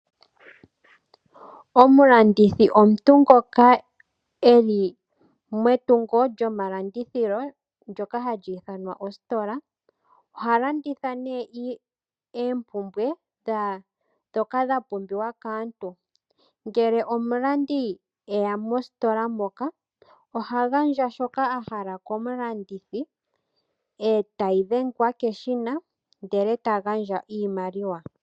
Omulandithi omuntu ngoka e li metungo lyomalandithilo ndyoka hali ithanwa ositola. Oha landitha nduno oompumbwe ndhoka dha pumbiwa kaantu. Uuna omulandi e ya mositola oha gandja shoka a hala komulandithi e tashi dhengwa keshina e ta gandja iimaliwa.